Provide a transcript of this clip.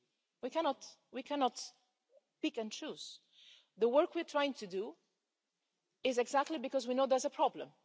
We cannot can pick and choose. The work we're trying to do is exactly because we know there's a problem.